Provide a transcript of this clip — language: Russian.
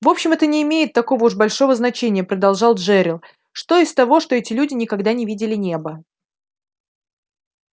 в общем это не имеет такого уж большого значения продолжал джерилл что из того что эти люди никогда не видели неба